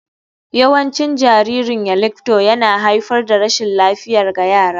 Yawancin jaririn yeilingbto yana haifar da rashin lafiya ga yara.